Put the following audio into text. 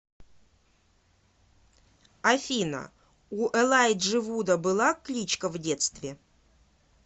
афина у элайджи вуда была кличка в детстве